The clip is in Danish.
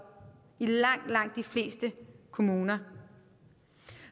i langt langt de fleste kommuner